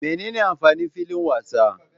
Menene amfanin filin wasa?